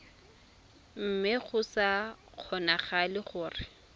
mme go sa kgonagale gore